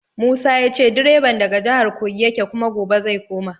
Musa ya ce direban daga jihar Kogi yake kuma gobe zai koma.